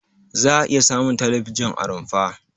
Za'a iya samun talabijin a rumfa.